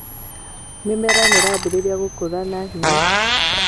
Mĩmera ĩrambirie gũkũra na ihenya.